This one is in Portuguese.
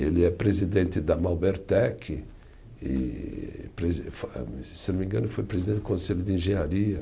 Ele é presidente da Malbertec e presi, se não me engano, foi presidente do Conselho de Engenharia.